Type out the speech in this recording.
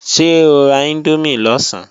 Ṣé o ra índómì lọ̀sán?